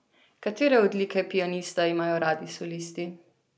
Katere odlike pianista imajo radi solisti?